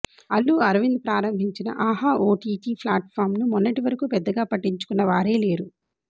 అల్లు అరవింద్ ప్రారంభించిన ఆహా ఓటీటీ ఫ్లాట్ పామ్ను మొన్నటి వరకు పెద్దగా పట్టించుకున్న వారే లేరు